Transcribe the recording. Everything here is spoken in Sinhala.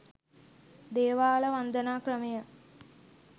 දේවාල වන්දනා ක්‍රමය